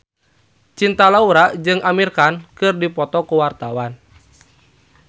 Cinta Laura jeung Amir Khan keur dipoto ku wartawan